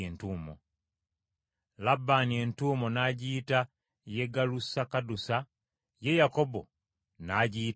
Labbaani entuumu n’agiyita Yegalusakadusa, ye Yakobo n’agiyita Galeedi.